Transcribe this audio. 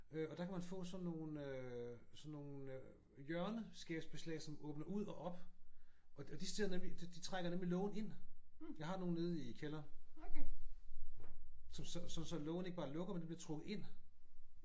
Øh og der kan man få sådan nogle øh sådan nogle øh hjørneskabsbeslag som åbner ud og op og de sidder nemlig de trækker nemlig lågen ind. Jeg har nogle nede i kælderen. Sådan så lågen ikke bare lukker men den bliver trukket ind